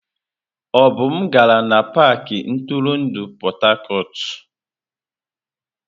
Obum gara n'pakị ntụrụndụ Port Harcourt.